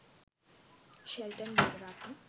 Shelton Weeraratne..